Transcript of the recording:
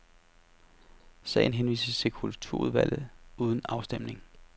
Sagen henvises til kulturudvalget uden afstemning.